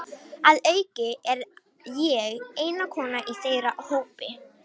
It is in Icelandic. Að auki er ég eina konan í þeirra hópi.